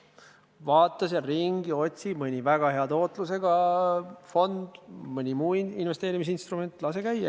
Vaata seal ringi, otsi mõni väga hea tootlusega fond, mõni muu investeerimisinstrument – lase käia!